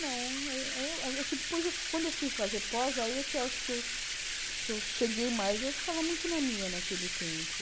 Não, eu eu é que depois, quando eu fui fazer pós, aí é que eu acho que que eu cheguei mais, eu ficava muito na minha naquele tempo.